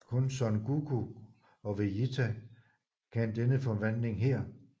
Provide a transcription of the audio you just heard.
Kun Son Goku og Vejita kan denne forvandling her